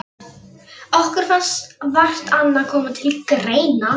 Okkur fannst vart annað koma til greina.